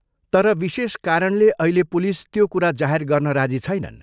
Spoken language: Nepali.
तर विशेष कारणले अहिले पुलिस त्यो कुरा जाहेर गर्न राजी छैनन्।